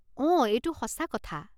অঁ এইটো সঁচা কথা।